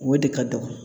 O de ka dɔgɔn